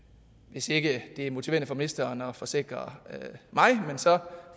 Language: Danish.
jeg siger ikke at det er motiverende for ministeren at forsikre